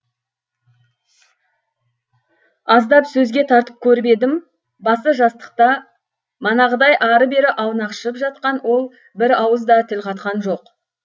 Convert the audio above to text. аздап сөзге тартып көріп едім басы жастықта манағыдай ары бері аунақшып жатқан ол бір ауыз да тіл қатқан жоқ